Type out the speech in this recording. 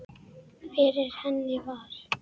Fyrir henni var